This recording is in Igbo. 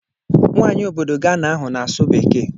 Nwaanyi obodo Gana ahụ na-asụ bekee.